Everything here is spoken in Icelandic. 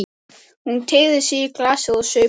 Hún teygði sig í glasið og saup á.